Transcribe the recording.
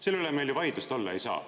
Selle üle on meil ju vaidlust olla ei saa.